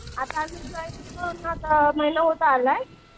आता मी जॉइनिंग करून बघ महिना होत आलाय.